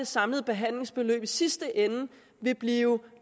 samlede behandlingsforløb i sidste ende blive